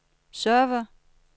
server